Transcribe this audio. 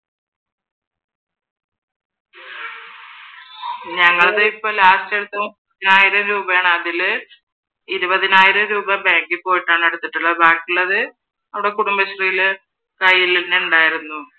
ഞങ്ങളുടെ ഇപ്പൊ ലാസ്‌റ് എടുത്തത് ആയിരം രൂപയാണ് അതിൽ ഇരുപതിനായിരം രൂപ ബാങ്കിൽ പോയിട്ടാണ് എടുത്തിട്ടുള്ളത് ബാക്കി ഉള്ളത് അവിടെ കുടുംബശ്രീയിൽ ഉണ്ടായിരുന്നു.